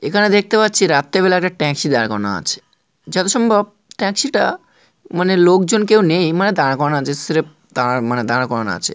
এখানে দেখতে পাচ্ছি রাত্রে বেলা একটা ট্যাক্সি দাঁড় করানো আছে যত সম্ভব ট্যাক্সিটা মানে লোকজন কেউ নেই মানে দাঁড়ানো আছে স্রেফ মানে দাঁড় করানো আছে।